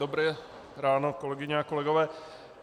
Dobré ráno kolegyně a kolegové.